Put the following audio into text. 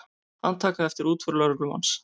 Handtaka eftir útför lögreglumanns